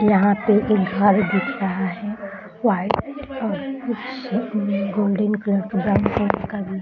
यहाँ पे एक घर दिख रहा है वाइट और कुछ उम गोल्डन कलर का ब्राउन कलर का भी --